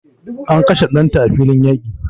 An kashe danta a filin yaƙi